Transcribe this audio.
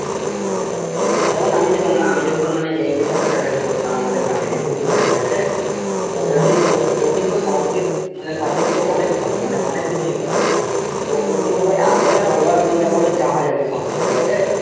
হ্যাঁ অনেকটা তাই, যেমন আমি যেমন আমি যখন মানে HS এ একটা sir এর কাছে পড়তাম আমাদের গ্রামেরই পিনটু sir ঠিকআছে তো ও কিন্তু ও কিন্তু সংস্কৃত মানে subject এ অনেক ভালো মানে অনেক কিছুই করে তো ও কি বলবো এতটাই ভালো একদম যাকে বলে জাহাজ আর কি সংস্কৃতের ঠিক আছে